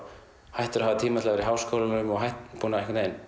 hættur að hafa tíma til að vera í háskólanum búinn að